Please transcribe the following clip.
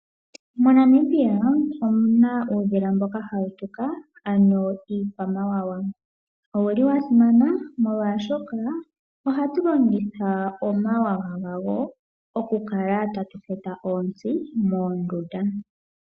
MoNamibia omu na uudhila mboka hawu tuka, ano iikwamawawa. Owa simana, molwashoka ohatu longitha omawawa gawo okukala tatu pupula onzi moondunda.